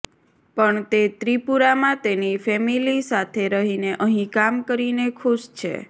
પણ તે ત્રિપુરામાં તેની ફેમિલી સાથે રહીને અહીં કામ કરીને ખુશ છે